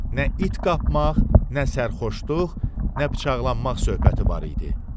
Nə it qapmaq, nə sərxoşluq, nə bıçaqlanmaq söhbəti var idi.